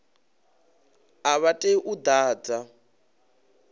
a vha tei u ḓadza